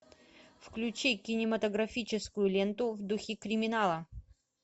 включи кинематографическую ленту в духе криминала